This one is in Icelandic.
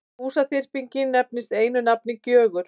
Húsaþyrpingin nefnist einu nafni Gjögur.